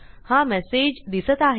हा मेसेज दिसत आहे